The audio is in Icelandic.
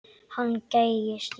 Hann gægist í hann.